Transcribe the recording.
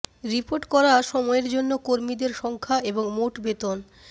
report করা সময়ের জন্য কর্মীদের সংখ্যা এবং মোট বেতন